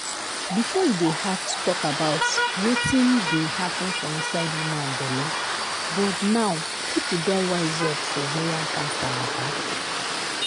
befor e dey hard to talk about wetin dey happun for inside woman belle but now pipo don wise up for ovarian cancer mata.